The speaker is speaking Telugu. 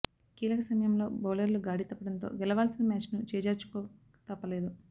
కీలక సమయంలో బౌలర్లు గాడి తప్పడంతో గెలవాల్సిన మ్యాచ్ను చేజార్చుకోక తప్పలేదు